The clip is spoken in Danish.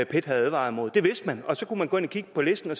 pet havde advaret mod det vidste man og så kunne man gå ind at kigge på listen og